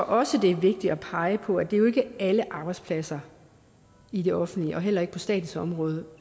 også det er vigtigt at pege på at det jo ikke er på alle arbejdspladser i det offentlige og heller ikke på statens område